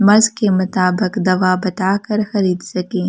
मर्ज के मुताबिक दवा बता कर खरीद सकें।